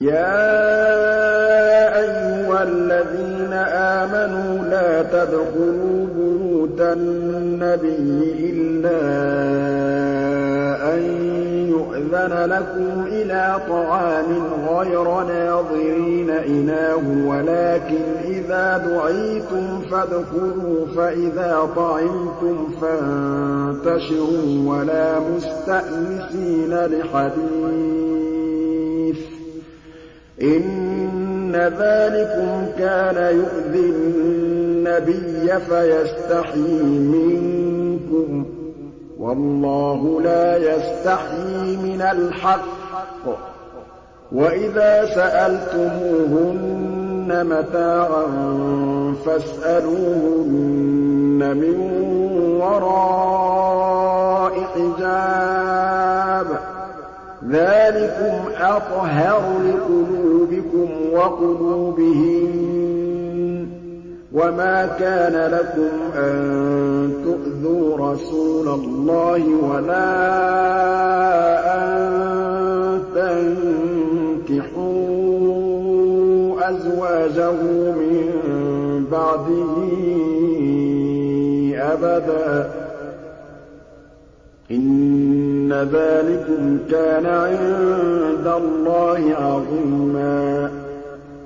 يَا أَيُّهَا الَّذِينَ آمَنُوا لَا تَدْخُلُوا بُيُوتَ النَّبِيِّ إِلَّا أَن يُؤْذَنَ لَكُمْ إِلَىٰ طَعَامٍ غَيْرَ نَاظِرِينَ إِنَاهُ وَلَٰكِنْ إِذَا دُعِيتُمْ فَادْخُلُوا فَإِذَا طَعِمْتُمْ فَانتَشِرُوا وَلَا مُسْتَأْنِسِينَ لِحَدِيثٍ ۚ إِنَّ ذَٰلِكُمْ كَانَ يُؤْذِي النَّبِيَّ فَيَسْتَحْيِي مِنكُمْ ۖ وَاللَّهُ لَا يَسْتَحْيِي مِنَ الْحَقِّ ۚ وَإِذَا سَأَلْتُمُوهُنَّ مَتَاعًا فَاسْأَلُوهُنَّ مِن وَرَاءِ حِجَابٍ ۚ ذَٰلِكُمْ أَطْهَرُ لِقُلُوبِكُمْ وَقُلُوبِهِنَّ ۚ وَمَا كَانَ لَكُمْ أَن تُؤْذُوا رَسُولَ اللَّهِ وَلَا أَن تَنكِحُوا أَزْوَاجَهُ مِن بَعْدِهِ أَبَدًا ۚ إِنَّ ذَٰلِكُمْ كَانَ عِندَ اللَّهِ عَظِيمًا